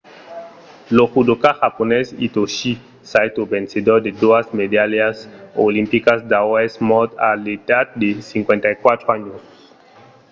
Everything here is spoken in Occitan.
lo judoka japonés hitoshi saito vencedor de doas medalhas olimpicas d'aur es mòrt a l'edat de 54 ans